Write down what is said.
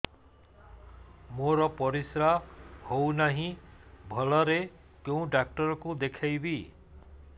ମୋର ପରିଶ୍ରା ହଉନାହିଁ ଭଲରେ କୋଉ ଡକ୍ଟର କୁ ଦେଖେଇବି